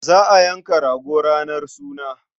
Za a yanka rago ranar suna.